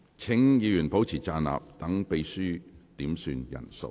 請議員保持站立，讓秘書點算人數。